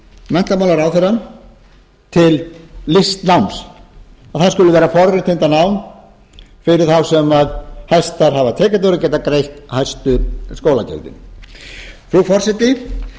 menntamálaráðherra til listnáms að það skuli vera forréttindanám fyrir þá sem hæstar hafa tekjurnar og geta greitt hæstu skólagjöldin frú forseti